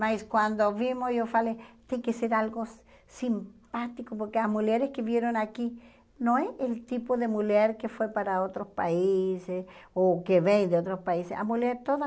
Mas quando vimos, eu falei, tem que ser algo simpático, porque as mulheres que vieram aqui, não é o tipo de mulher que foi para outros países, ou que vem de outros países, a mulher toda...